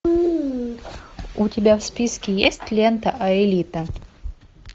у тебя в списке есть лента аэлита